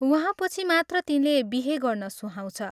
वहाँपछि मात्र तिनले बिहे गर्न सुहाउँछ।